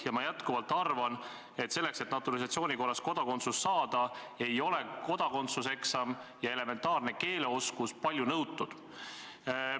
Ja ma jätkuvalt arvan, et selleks, et naturalisatsiooni korras kodakondsus saada, ei ole kodakondsuseksam ja elementaarne keeleoskus palju nõutud.